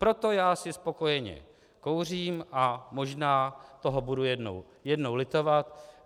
Proto já si spokojeně kouřím a možná toho budu jednou litovat.